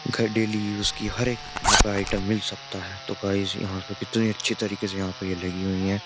घर daily use की हर एक यहाँ पर आइटम मिल सकता है तो गाइस यहां पे कितनी अच्छी तरीके से यहाँ पे ये लगी हुई हैं।